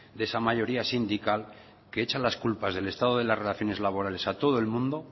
de esa mayoría sindical que echa las culpas del estado de las relaciones laborales a todo el mundo